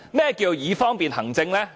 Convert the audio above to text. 何謂"以方便行政"？